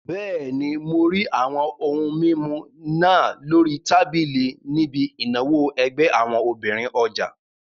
Bẹ́ẹ̀ni, mo rí àwọn ohun mímu náà lórí tábìlì níbi ìnáwó ẹgbẹ́ àwọn obìnrin ọjà